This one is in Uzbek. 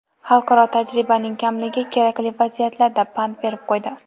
Xalqaro tajribaning kamligi kerakli vaziyatlarda pand berib qo‘ydi.